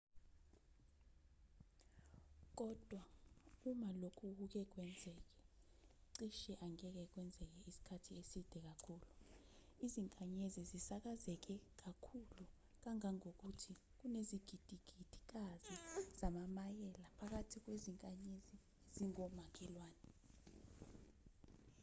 kodwa uma lokhu kuke kwenzeke cishe angeke kwenzeke isikhathi eside kakhulu izinkanyezi zisakazeke kakhulu kangangokuthi kunezigidigidikazi zamamayela bakwathi kwezinkanyezi ezingomakhelwane